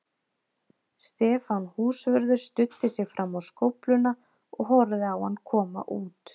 Stefán húsvörður studdi sig fram á skófluna og horfði á hann koma út.